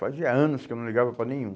Fazia anos que eu não ligava para nenhum.